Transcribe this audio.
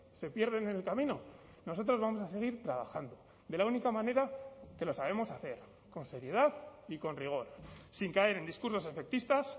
se pierden en el camino nosotros vamos a seguir trabajando de la única manera que lo sabemos hacer con seriedad y con rigor sin caer en discursos efectistas